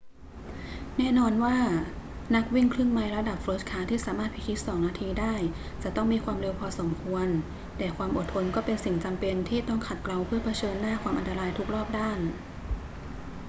แน่นอนว่านักวิ่งครึ่งไมล์ระดับเฟิร์สคลาสที่สามารถพิชิตสองนาทีได้จะต้องมีความเร็วพอสมควร แต่ความอดทนก็เป็นสิ่งจำเป็นที่ต้องขัดเกลาเพื่อเผชิญหน้าความอันตรายทุกรอบด้าน